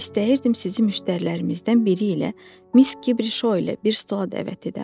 İstəyirdim sizi müştərilərimizdən biri ilə, Miss Kibrişo ilə bir stola dəvət edəm.